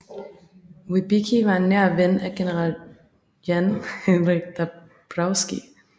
Wybicki var en nær ven af General Jan Henryk Dąbrowski